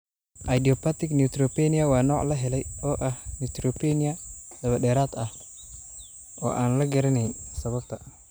Idiopathic neutropenia waa nooc la helay oo ah neutropenia dabadheeraad ah oo aan la garanayn sababta.